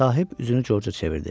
Sahib üzünü Corca çevirdi.